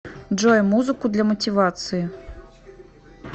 джой музыку для мотивации